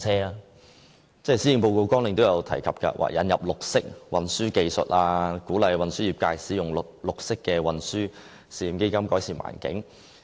施政報告的綱領也提到要引入綠色運輸技術，鼓勵運輸業界使用綠色運輸試驗基金，改善環境。